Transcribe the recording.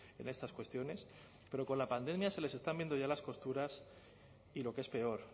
en estas cuestiones pero con la pandemia se les están viendo ya las costuras y lo que es peor